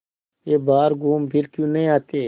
वे बाहर घूमफिर क्यों नहीं आते